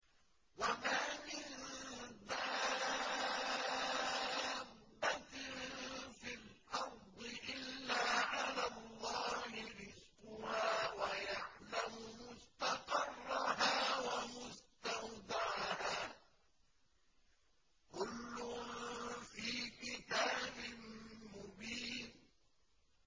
۞ وَمَا مِن دَابَّةٍ فِي الْأَرْضِ إِلَّا عَلَى اللَّهِ رِزْقُهَا وَيَعْلَمُ مُسْتَقَرَّهَا وَمُسْتَوْدَعَهَا ۚ كُلٌّ فِي كِتَابٍ مُّبِينٍ